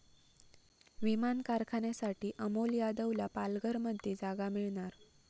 विमान कारखान्यासाठी अमोल यादवला पालघरमध्ये जागा मिळणार